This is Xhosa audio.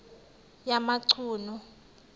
yamachunu